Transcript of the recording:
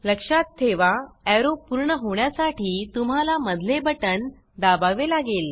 लक्षात ठेवा एरो पूर्ण होण्यासाठी तुम्हाला मधले बटन दाबावे लागेल